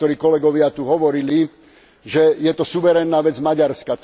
Niektorí kolegovia tu hovorili, že je to suverénna vec Maďarska.